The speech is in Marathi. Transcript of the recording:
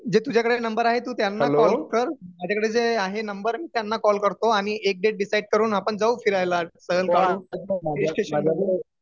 जे तुझ्याकडे नंबर आहेत तू त्यांना कॉल कर. माझ्याकडे जे आहे नंबर मी त्यांना कॉल करतो आणि एक डेट डिसाईड करून आपण जाऊ फिरायला सहल काढू हिल स्टेशन मध्ये